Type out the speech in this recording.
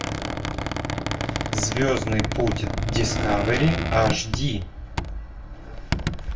звездный путь дискавери аш ди